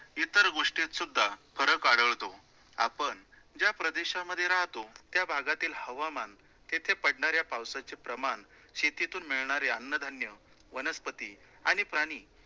इतर गोष्टीत सुद्धा फरक आढळतो. आपण ज्या प्रदेशामध्ये राहतो, त्याभागातील हवामान तेथे पडणाऱ्या पावसाचे प्रमाण शेतीतून मिळणारे अन्नधान्य, वनस्पती आणि प्राणी